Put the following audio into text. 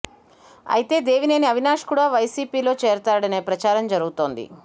అయితే దేవినేని అవినాష్ కూడా వైసీపీ లో చేరతాడనే ప్రచారం జరుగుతుంది